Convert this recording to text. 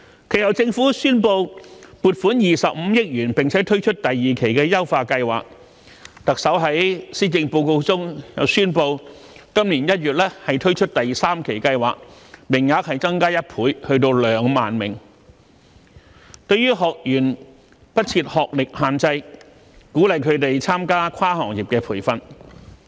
其後，政府宣布撥款25億元並推出第二期優化計劃，特首在施政報告中宣布，今年1月推出第三期計劃，名額增加1倍至2萬名，對學員不設學歷限制，鼓勵他們參加跨行業培訓。